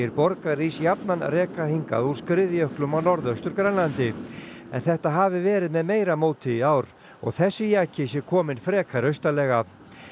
borgarís jafnan reka hingað úr skriðjöklum á Norðaustur Grænlandi en þetta hafi verið með meira móti í ár og þessi jaki sé kominn frekar austarlega